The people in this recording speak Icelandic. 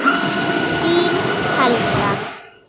Þín, Helga.